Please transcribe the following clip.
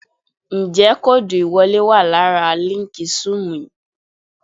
Ǹjẹ́ kóòdù ìwọlé wà lára líǹkì Zúùmù yìí?